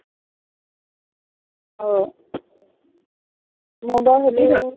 আহ মই বাৰু শুনিছ